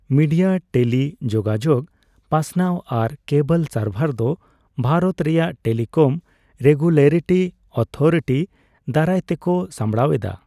Media, ᱴᱮᱞᱤ ᱡᱳᱜᱟᱡᱳᱜᱽ, ᱯᱟᱥᱱᱟᱣ ᱟᱨ ᱠᱮᱵᱚᱞ ᱥᱟᱨᱵᱷᱟᱨ ᱫᱚ ᱵᱷᱟᱨᱚᱛ ᱨᱮᱭᱟᱜ ᱴᱮᱞᱤᱠᱚᱢ ᱨᱮᱜᱩᱞᱮᱴᱚᱨᱤ ᱚᱛᱷᱚᱨᱤᱴᱤ ᱫᱟᱨᱟᱭ ᱛᱮᱠᱚ ᱥᱟᱸᱵᱽᱲᱟᱣ ᱮᱫᱟ ᱾